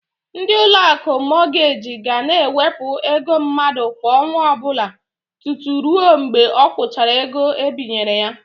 Ndị Ụlọakụ Mọgeji ga na-ewepụ ego mmadụ kwa ọnwa ọbụla tutu ruo mgbe ọ kwụchara ego ebinyere ya.